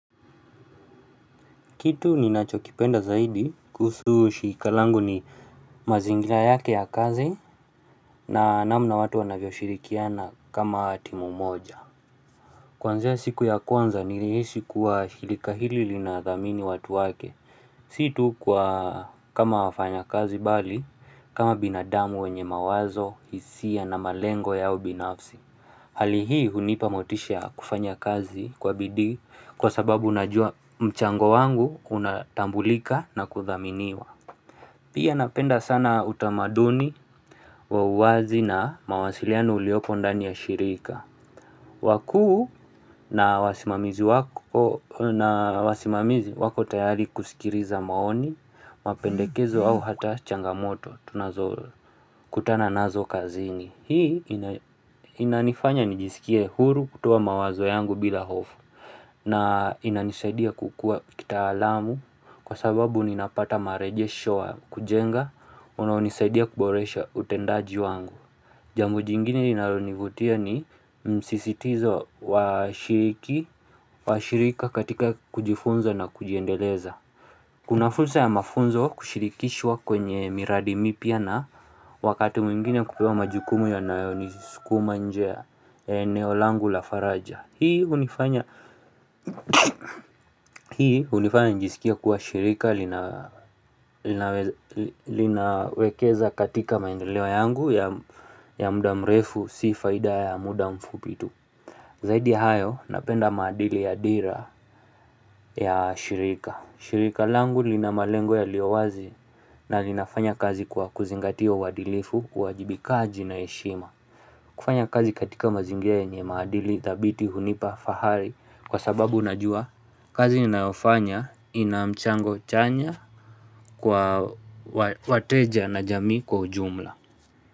Kitu ni nacho kipenda zaidi kuhusu shirika langu ni mazingira yake ya kazi na namna watu wanavyo shirikiana kama timu moja. Kwanzia siku ya kwanza nilihisi kuwa shirika hili linadhamini watu wake. Sio tu kwa kama wafanyakazi mbali, kama binadamu wenye mawazo, hisia na malengo yao binafsi. Hali hii hunipa motisha kufanya kazi kwa bidii kwa sababu najua mchango wangu unatambulika na kuthaminiwa Pia napenda sana utamaduni wa uwazi na mawasiliano uliopo ndani ya shirika wakuu na wasimamizi wako tayari kusikiliza maoni, mapendekezo au hata changamoto tunazokutana nazo kazini Hii inanifanya nijisikie huru kutoa mawazo yangu bila hofu na inanisaidia kukua kitaalamu kwa sababu ninapata marejesho wa kujenga unaonisaidia kuboresha utendaji wangu. Jambo jingine linalonivutia ni msisitizo wa shirika katika kujifunza na kujiendeleza. Kuna fursa ya mafunzo kushirikishwa kwenye miradi mipya na wakati mwingine kupewa majukumu yanayonisukuma nje ya eneo langu la faraja Hii hunifanya njisikie kuwa shirika linawekeza katika maendeleo yangu ya muda mrefu si faida ya muda mfupi tu Zaidi ya hayo napenda madili ya dira ya shirika. Shirika langu lina malengo yaliyo wazi na linafanya kazi kwa kuzingatia uadilifu uwajibikaji na heshima. Kufanya kazi katika mazingira yenye maadili, dhabiti, hunipa, fahari kwa sababu unajua kazi ninayofanya ina mchango chanya kwa wateja na jamii kwa ujumla.